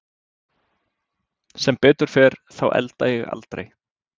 Sem betur fer þá elda ég aldrei.